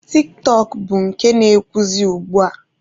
Tik-tọk bụ nke na-ewuzi ugbua.